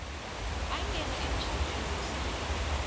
angene emtjhadweni wesintu